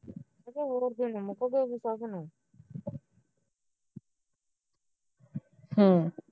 ਹਮ